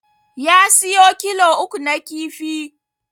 Ya siyo kilo uku na kifi